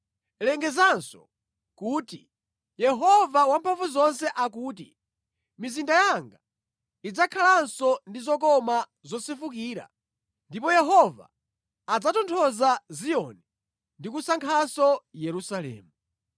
“Lengezanso kuti, Yehova Wamphamvuzonse akuti, ‘Mizinda yanga idzakhalanso ndi zokoma zosefukira ndipo Yehova adzatonthoza Ziyoni ndi kusankhanso Yerusalemu.’ ”